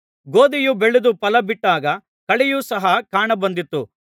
ಗೋದಿಯು ಬೆಳೆದು ಫಲ ಬಿಟ್ಟಾಗ ಕಳೆಯು ಸಹ ಕಾಣ ಬಂದಿತು